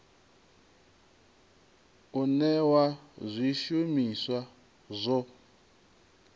u newa zwi shumiswa zwo